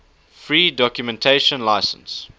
free documentation license